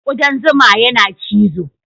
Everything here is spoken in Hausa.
Ƙudan zuma yana cizo.